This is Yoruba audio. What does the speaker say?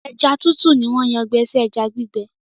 ẹja tútù ní wón Yàn gbé sí ẹja gbígbẹ.